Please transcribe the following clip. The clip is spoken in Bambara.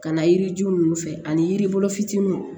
Ka na yiri ju ninnu fɛ ani yiri fitinin